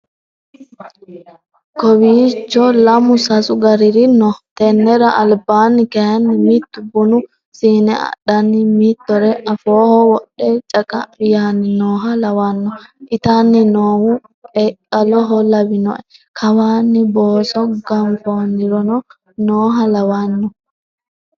Kowicho lamu sasu gariri no tenera albaani kayinni mitu bunu siine adhanni mitore afooho wodhe caqa'mi yaani nooha lawano itanni noohu qeqaloho lawinoe kawani booso ganfonirino nooha lawano.